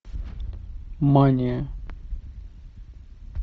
мания